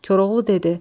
Koroğlu dedi: